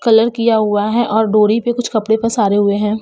Colour किया हुआ है और डोरी पे कुछ कपड़े पसारे हुए हैं।